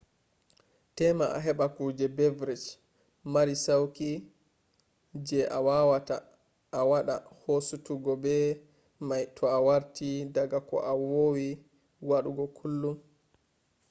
tema a heɓa kuje beverage mari sauqi je a wawata a waɗa hasutugo be mai to a warti daga ko vowi waɗugo kullum